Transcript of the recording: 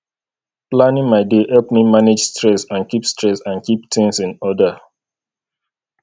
planning my day help me manage stress and keep stress and keep things in order